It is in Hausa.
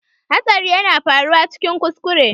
Hatsari yana faruwa cikin kuskure